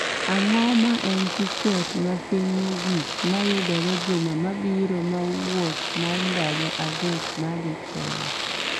Ang'o ma en tiket mapiny mogik ma yudore juma mabiro ma wuoth ma ndalo adek ma dhi kenya